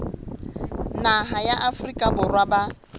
naha ya afrika borwa ba